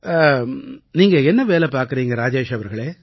நீங்க என்ன வேலை பார்க்கறீங்க ராஜேஷ் அவர்களே